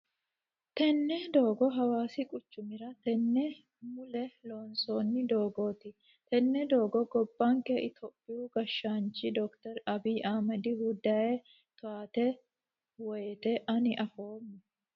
Tenne doogo hawaasi quccumira tenne mule loonsoni doogoti. Tenne doogo gobbanke itiyophiyu gashshaanchi Doctor Abiyi Ahimedihuno dayee towaati woyiite Ani afoomma.